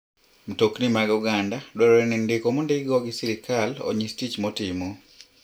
Mtokni mag oganda dwarore ni ndiko mondikgi go gi sirkal onyis tich motimo.